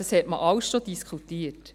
Das hat man alles schon diskutiert.